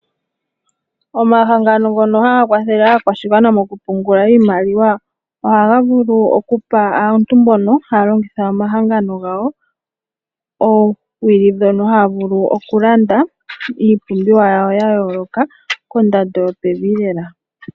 Omahangano ngono ha ga kwathele aakwashigwana mokupungula iimaliwa ohaga vulu oku pa aantu mbono ha ya longitha omahangano gawo oowili ndhono haya vulu oku landa iipumbiwa yawo ya yooloka kondando yopevi.